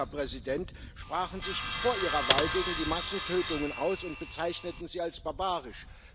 Sie, Herr Präsident, sprachen sich vor Ihrer Wahl gegen die Massentötungen aus und bezeichneten sie als barbarisch.